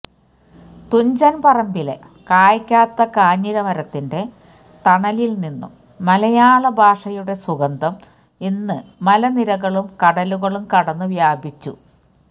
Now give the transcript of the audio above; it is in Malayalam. തുഞ്ചൻപറമ്പിലെ കയ്ക്കാത്ത കാഞ്ഞിരമരത്തിന്റെ തണലിൽനിന്നും മലയാള ഭാഷയുടെ സുഗന്ധം ഇന്ന് മലനിരകളും കടലുകളും കടന്ന് വ്യാപിച്ചു